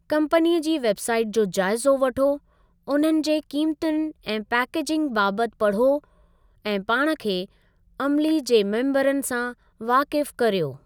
कम्पनीअ जी website जो जाइज़ो वठो, उन्हनि जे क़ीमतुनि ऐं पैकेज़नि बाबति पढ़ो, ऐं पाण खे अमिली जे मेम्बरनि सां वाकिफ़ करियो।